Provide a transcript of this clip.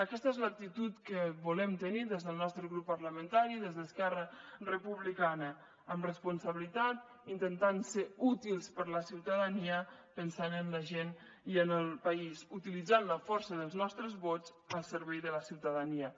aquesta és l’actitud que volem tenir des del nostre grup parlamentari des d’esquerra republicana amb responsabilitat intentant ser útils per a la ciutadania pensant en la gent i en el país utilitzant la força dels nostres vots al servei de la ciutadania